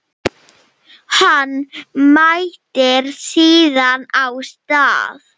Hann mætir síðan á stað